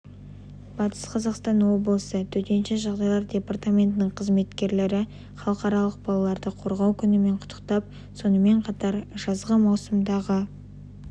батыс қазақстан облысы төтенше жағдайлар департаментінің қызметкерлері халықаралық балаларды қорғау күнімен құттықтап сонымен қатар жазғы маусымдағы